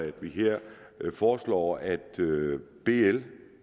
at vi her foreslår at bl